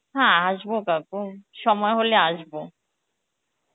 হ্যাঁ আসব কাকু সময় হলে আসব